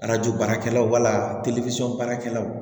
baarakɛlaw wala deli baarakɛlaw